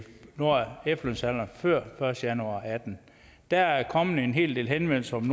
når efterlønsalderen før første januar og atten der er kommet en hel del henvendelser